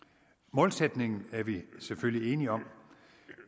målsætningen er vi selvfølgelig enige om